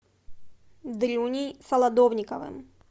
дрюней солодовниковым